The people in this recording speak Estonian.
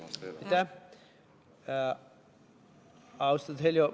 Austatud Heljo!